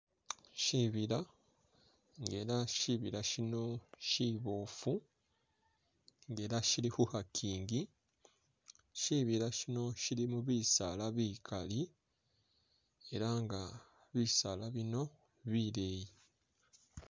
Shibila nga ela shibila shino shibofu nga ela shili khukhakingi shibila shino shilimo bisaala bikali elanga bisaala bino bileyi.